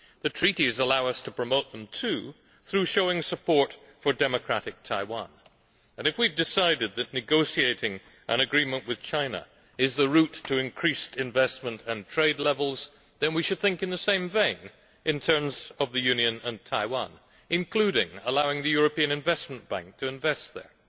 The Treaties allow us to promote them too through showing support for democratic Taiwan. If we have decided that negotiating an agreement with China is the route to increased investment and trade levels, then we should think in the same vein in terms of the Union and Taiwan, including allowing the European Investment Bank to invest there.